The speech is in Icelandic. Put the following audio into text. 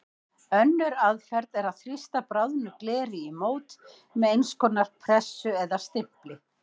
Önnur aðferð er að þrýsta bráðnu gleri í mót með eins konar pressu eða stimpli.